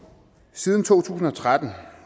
siden to tusind og tretten